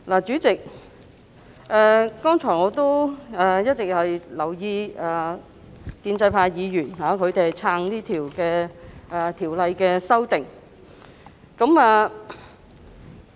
主席，我剛才一直留意建制派議員，他們是"撐"《條例草案》提出的修訂的。